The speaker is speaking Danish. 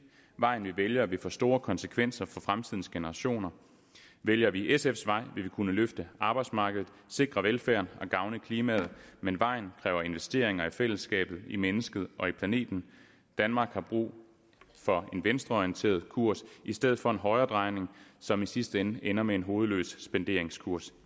vej vi vælger vil få store konsekvenser for fremtidens generationer vælger vi sfs vej vil vi kunne løfte arbejdsmarkedet sikre velfærden og gavne klimaet men vejen kræver investeringer i fællesskabet i mennesket og i planeten danmark har brug for en venstreorienteret kurs i stedet for en højredrejning som i sidste ende ender med en hovedløs spenderingskurs